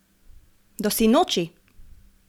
Do sinoči!